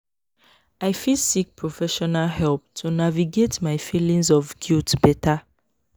i fit seek professional help to navigate my feelings of guilt better.